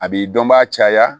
A b'i dɔn baa caya